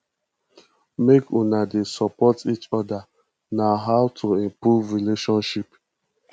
make una dey support eachoda na how to improve relationship